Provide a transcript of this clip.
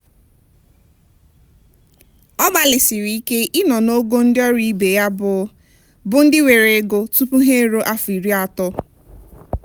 ọ gbalịsiri ike ị nọ n'ogo ndị ọrụ ibe ya bụ bụ ndị nwere nnukwu ego tupu ha eruo afọ iri atọ.